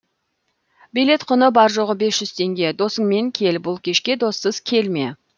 билет құны бар жоғы бес жүз теңге досыңмен кел бұл кешке доссыз келме